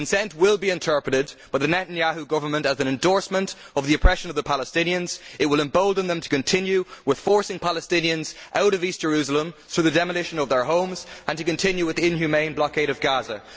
Consent will be interpreted by the Netanyahu Government as an endorsement of the oppression of the Palestinians. It will embolden them to continue with forcing Palestinians out of East Jerusalem and demolishing their homes, and to continue with the inhumane blockade of Gaza.